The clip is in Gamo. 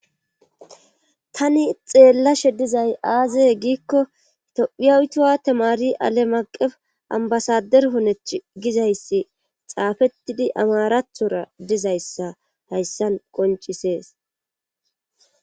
Tani xeellashe dizay aazeye giikko tophiyawutuwa tamari alemaqef ambasader honech gizayssi xaafettidi amarathora dizayssa hayssan qoncisees.